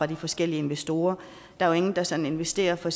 de forskellige investorer der er ingen der sådan investerer for